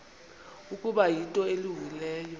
ukuba yinto elungileyo